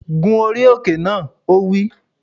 Gun orí òkè náà! Ó wí